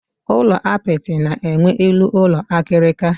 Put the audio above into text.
Ulo apịtị na enwe elu ụlọ akirika